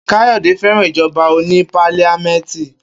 Kayode féràn ìjoba oní pálíamẹ́tì.